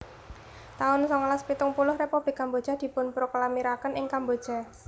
taun songolas pitung puluh Republik Kamboja dipunproklamiraken ing Kamboja